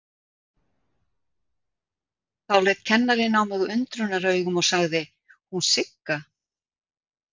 Þá leit kennarinn á mig undrunaraugum og sagði: Hún Sigga?